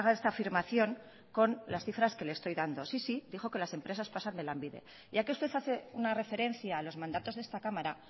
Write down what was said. esta afirmación con las cifras que le estoy dando sí sí dijo que las empresas pasan de lanbide ya que usted hace una referencia a los mandatos de esta cámara